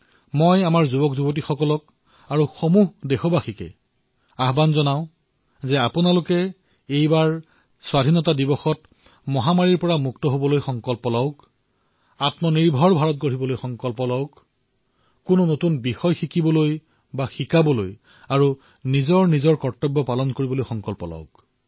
মই আমাৰ যুৱ বন্ধুসকলক সকলো দেশবাসীক অনুৰোধ কৰিছো যে এই স্বাধীনতা দিৱসত মহামাৰীৰ পৰা স্বাধীন হোৱাৰ সংকল্প গ্ৰহণ কৰক আত্মনিৰ্ভৰ ভাৰতৰ সংকল্প গ্ৰহণ কৰক কিবা এটা নতুন শিকাৰ আৰু শিকোৱাৰ সংকল্প লওক নিজৰ কৰ্তব্যৰ পালন কৰক